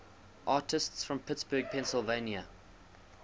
artists from pittsburgh pennsylvania